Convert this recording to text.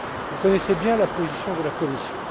Vous connaissez bien la position de la Commission.